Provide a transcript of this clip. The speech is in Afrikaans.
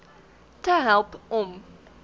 te help om